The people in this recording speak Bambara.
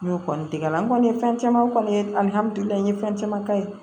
N y'o kɔni tigɛ la n kɔni ye fɛn caman kɔni ye n ye fɛn caman ka ye